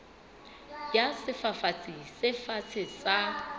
ya sefafatsi se fatshe sa